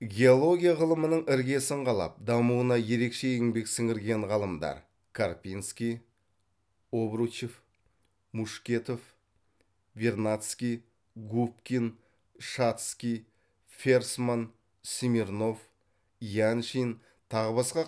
геология ғылымының іргесін қалап дамуына ерекше еңбек сіңірген ғалымдар карпинский обручев мушкетов вернадский губкин шатский ферсман смирнов яншин тағы басқа